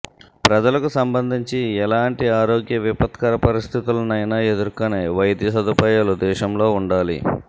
ప్రజలకు సంబంధించి ఎలాంటి ఆరోగ్య విపత్కర పరిస్థితులనైనా ఎదుర్కొనే వైద్య సదుపాయాలు దేశంలో ఉండాలి